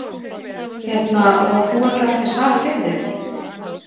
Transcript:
Hérna, og þú ætlar ekki að svara fyrir þig?